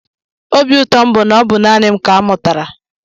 Obi ụtọ m bụ na ọ bụ naanị m ka a mụtara.